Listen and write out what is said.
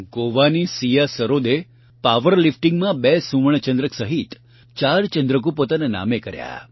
ગોવાની સીયા સરોદે પાવર લિફ્ટીંગમાં ૨ સુવર્ણચંદ્રક સહિત ૪ ચંદ્રકો પોતાના નામે કર્યા